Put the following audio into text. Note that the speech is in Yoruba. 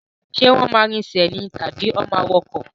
Ṣé wọ́n máa rinsẹ̀ ni tàbí wọ́n máa wọ ọkọ̀?